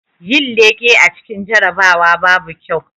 Yin leƙe a cikin jarabawa babu kyau